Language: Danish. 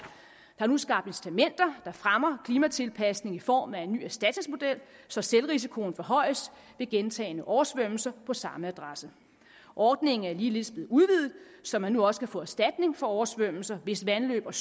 der er nu skabt incitamenter der fremmer klimatilpasning i form af en ny erstatningsmodel så selvrisikoen forhøjes ved gentagne oversvømmelser på samme adresse ordningen er ligeledes blevet udvidet så man nu også kan få erstatning for oversvømmelser hvis vandløb og